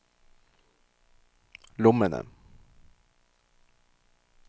lommene